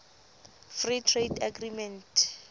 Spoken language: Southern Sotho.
free trade agreement